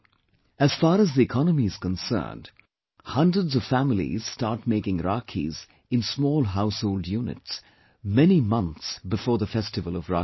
As far as the economy is concerned, hundreds of families start making Rakhis in small household units, many months before the festival of Rakhi